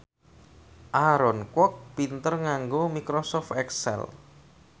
Aaron Kwok pinter nganggo microsoft excel